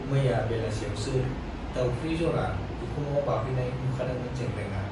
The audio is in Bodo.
मैया बेलासियावसो दाउफ्रि जरा उखुमाव बाफैनाय नुखादोंमोन जेंग्रेंआ।